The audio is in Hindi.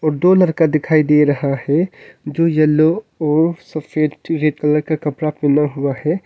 दो लड़का दिखाई दे रहा है जो एल्लो और सफेद ट रेड कलर का कपड़ा पहना हुआ हैं।